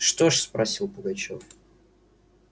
что ж спросил пугачёв